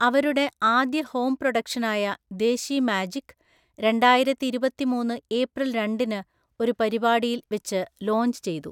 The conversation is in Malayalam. അവരുടെ ആദ്യ ഹോം പ്രൊഡക്ഷനായ ദേശി മാജിക്, രണ്ടായിരത്തിഇരുപത്തിമൂന്ന് ഏപ്രിൽ രണ്ടിന് ഒരു പരിപാടിയിൽ വെച്ച് ലോഞ്ച് ചെയ്തു.